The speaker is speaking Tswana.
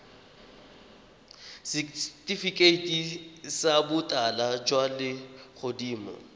setifikeiti sa botala jwa legodimo